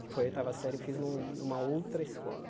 que foi a oitava série, eu fiz num numa outra escola.